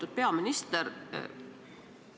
Lugupeetud peaminister!